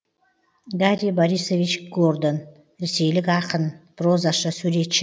гарри борисович гордон ресейлік ақын прозашы суретші